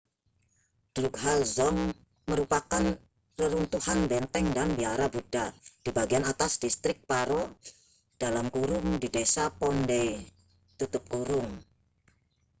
drukgyal dzong merupakan reruntuhan benteng dan biara buddha di bagian atas distrik paro di desa phondey